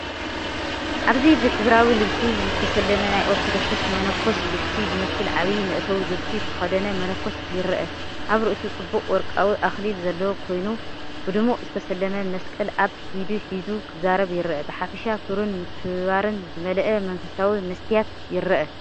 ኣብዚ ብሕብራዊ ልብሲ ዝተሰለመ ናይ ኦርቶዶክሳዊ መነኮስ ልብሲ ዝመስል ዓቢ መእተዊ ልብሲ ዝተኸድነ መነኮስ ይርአ። ኣብ ርእሱ ጽቡቕ ወርቃዊ ኣኽሊል ዘለዎ ኮይኑ፡ብድሙቕ ዝተሰለመ መስቀል ኣብ ኢዱ ሒዙ ክዛረብ ይረአ። ብሓፈሻ ክብርን ምክብባርን ዝመልአ መንፈሳዊ መስትያት ይረአ።